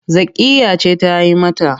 Zakkiyya ce ta yi mata.